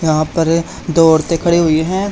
यहां पर दो औरते खड़ी हुई है।